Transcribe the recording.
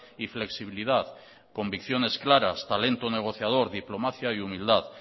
y flexibilidad convicciones claras talento negociador diplomacia y humildad